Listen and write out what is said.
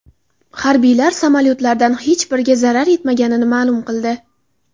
Harbiylar samolyotlardan hech biriga zarar yetmaganini ma’lum qildi.